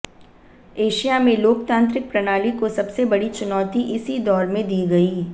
Asia में लोकतांत्रिक प्रणाली को सबसे बड़ी चुनौती इसी दौर में दी गई